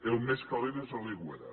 el més calent és a l’aigüera